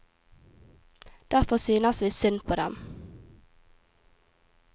Derfor synes vi synd på dem.